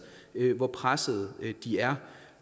hvor presset de er